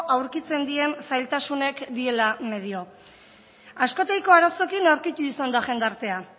aurkitzen dien zailtasunek diela medio askotaiko arazokin aurkittu izan da jendartea